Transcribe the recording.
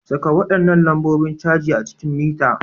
Saka waɗannan lambobin caji a cikin mita.